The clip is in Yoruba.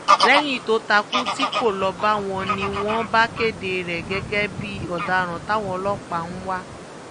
lẹ́yìn tó takú tí kò lọ báwọn ni wọ́n bá kéde rẹ̀ gẹ́gẹ́ bí ọ̀daràn táwọn ọlọ́pàá ń wá